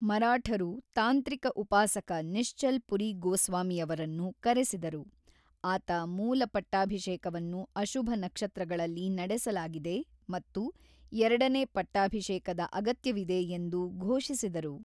ಮರಾಠರು ತಾಂತ್ರಿಕ ಉಪಾಸಕ ನಿಶ್ಚಲ್ ಪುರಿ ಗೋಸ್ವಾಮಿಯವರನ್ನು ಕರೆಸಿದರು, ಆತ ಮೂಲ ಪಟ್ಟಾಭಿಷೇಕವನ್ನು ಅಶುಭ ನಕ್ಷತ್ರಗಳಲ್ಲಿ ನಡೆಸಲಾಗಿದೆ ಮತ್ತು ಎರಡನೇ ಪಟ್ಟಾಭಿಷೇಕದ ಅಗತ್ಯವಿದೆ ಎಂದು ಘೋಷಿಸಿದರು.